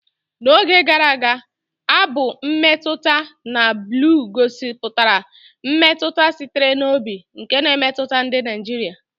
N'oge gara aga, abụ mmetụta na blu gosipụtara mmetụta sitere n'obi nke na-emetụta ndị Naijiria.